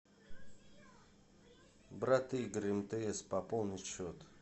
брат игорь мтс пополнить счет